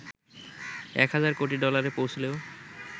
১ হাজার কোটি ডলারে পৌঁছলেও